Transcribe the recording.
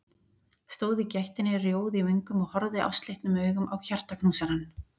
Stóð í gættinni rjóð í vöngum og horfði ástleitnum augum á hjartaknúsarann.